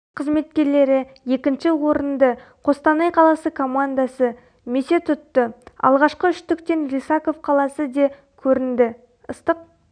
қызметкерлері екінші орынды қостанай қаласы командасы месе тұтты алғашқы үштіктен лисаков қаласы де көрінді ыстық